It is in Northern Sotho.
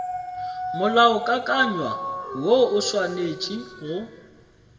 molaokakanywa woo o swanetše go